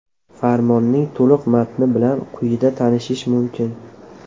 Farmonning to‘liq matni bilan quyida tanishish mumkin.